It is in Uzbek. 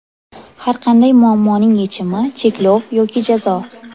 Har qanday muammoning yechimi - cheklov yoki jazo.